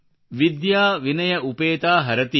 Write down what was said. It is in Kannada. ವಿದ್ಯಾ ವಿನಯ ಉಪೇತಾ ಹರತಿ